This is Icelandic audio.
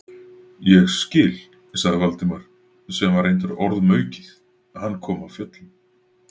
Ég skil- sagði Valdimar, sem var reyndar orðum aukið, hann kom af fjöllum.